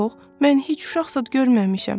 Yox, mən heç uşaq zad görməmişəm.